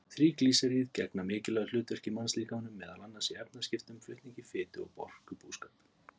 Þríglýseríð gegna mikilvægu hlutverki í mannslíkamanum, meðal annars í efnaskiptum, flutningi fitu og orkubúskap.